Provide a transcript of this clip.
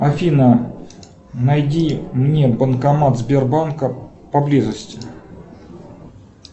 афина найди мне банкомат сбербанка поблизости